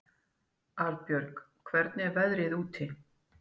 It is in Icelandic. Arinbjörg, hvernig er veðrið úti?